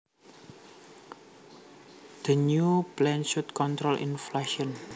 The new plan should control inflation